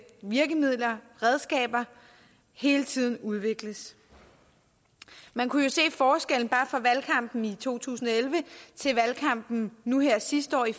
virkemidler redskaber hele tiden udvikles man kunne jo se forskellen bare fra valgkampen i to tusind og elleve til valgkampen nu her sidste år i